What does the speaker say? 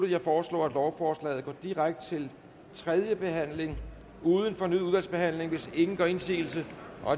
jeg foreslår at lovforslaget går direkte til tredje behandling uden fornyet udvalgsbehandling hvis ingen gør indsigelse